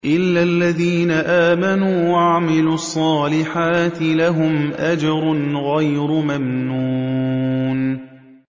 إِلَّا الَّذِينَ آمَنُوا وَعَمِلُوا الصَّالِحَاتِ لَهُمْ أَجْرٌ غَيْرُ مَمْنُونٍ